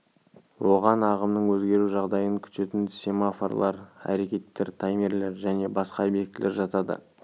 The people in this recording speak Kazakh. оған ағымның өзгеру жағдайын күтетін семафорлар әрекеттер таймерлер және басқа объектілер жатады